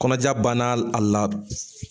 Kɔnɔja banna a la